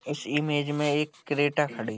इस इमेज में एक क्रेटा खड़ी --